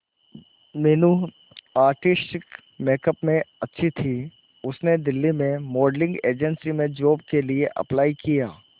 Meenu artistic makeup में अच्छी थी उसने दिल्ली में मॉडलिंग एजेंसी में जॉब के लिए अप्लाई किया